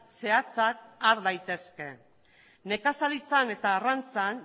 zehatzak har daitezke nekazaritzan eta arrantzan